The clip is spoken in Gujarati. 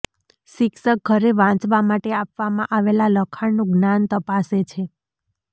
શિક્ષક ઘરે વાંચવા માટે આપવામાં આવેલા લખાણનું જ્ઞાન તપાસે છે